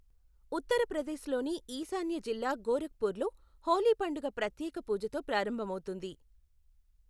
ఉత్తర ప్రదేశ్లోని ఈశాన్య జిల్లా గోరఖ్పూర్లో హోలీ పండుగ ప్రత్యేక పూజతో ప్రారంభమవుతుంది.